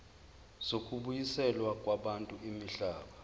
zokubuyiselwa kwabantu imihlaba